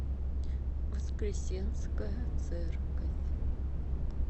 воскресенская церковь